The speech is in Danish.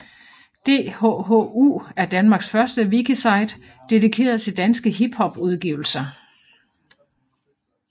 DHHU er danmarks første wikisite dedikeret til danske hiphop udgivelser